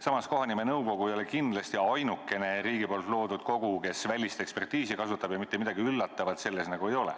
Samas, kohanimenõukogu ei ole kindlasti ainukene riigi loodud kogu, kes välist ekspertiisi kasutab, ja mitte midagi üllatavat selles ei ole.